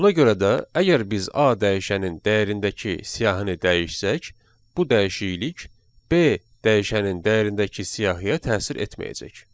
Buna görə də, əgər biz A dəyişənin dəyərindəki siyahini dəyişsək, bu dəyişiklik B dəyişənin dəyərindəki siyahıya təsir etməyəcək.